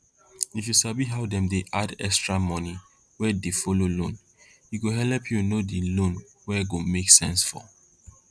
if you sabi how dem dey add extra money wey dey follow loan e go helep you know di loan wey go make sense for